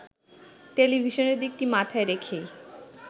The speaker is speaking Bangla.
টেলিভিশনের দিকটি মাথায় রেখেই